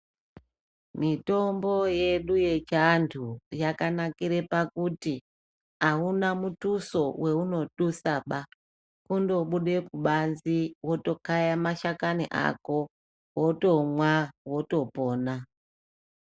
Mitombo yedu yechiantu yakanakire pakuti auna mutuso waunotusaba, kundobude kubanze wotokaye mashakani ako wotomwa wotopona.